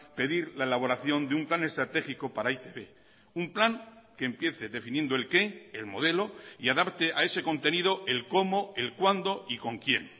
pedir la elaboración de un plan estratégico para e i te be un plan que empiece definiendo el qué el modelo y adapte a ese contenido el cómo el cuándo y con quién